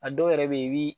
A dɔw yɛrɛ bɛ ye i bɛ